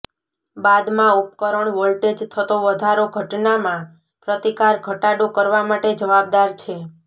બાદમાં ઉપકરણ વોલ્ટેજ થતો વધારો ઘટનામાં પ્રતિકાર ઘટાડો કરવા માટે જવાબદાર છે